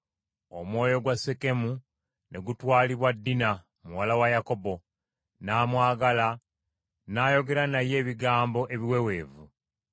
Omwoyo gwa Sekemu ne gutwalibwa Dina muwala wa Yakobo, n’amwagala n’ayogera naye ebigambo ebiweweevu.